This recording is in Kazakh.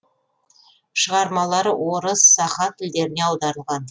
шығармалары орыс саха тілдеріне аударылған